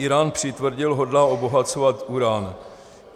Írán přitvrdil, hodlá obohacovat uran.